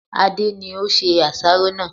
Adé ni ó se àsáró náà